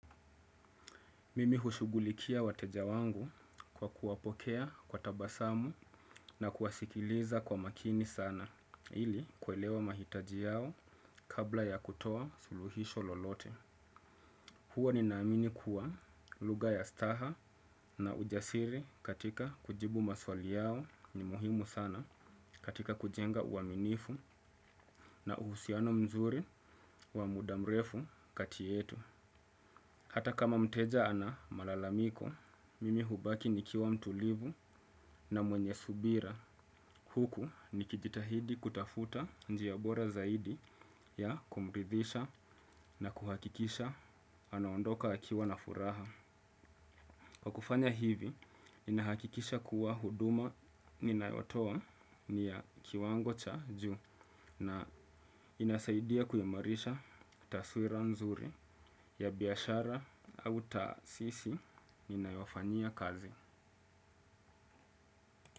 Mimi hushugulikia wateja wangu kwa kuwapokea kwa tabasamu na kuwasikiliza kwa makini sana, ili kuelewa mahitaji yao kabla ya kutoa suluhisho lolote. Huwa ninaamini kuwa lugha ya staha na ujasiri katika kujibu maswali yao ni muhimu sana katika kujenga uaminifu na uhusiano mzuri wa muda mrefu kati yetu. Hata kama mteja ana malalamiko, mimi hubaki nikiwa mtulivu na mwenye subira huku nikijitahidi kutafuta njia bora zaidi ya kumridhisha na kuhakikisha anaondoka akiwa na furaha. Kwa kufanya hivi, ninahakikisha kuwa huduma ninayotoa ni ya kiwango cha juu na inasaidia kuimarisha taswira nzuri ya biashara au taasisi ninayofanyia kazi.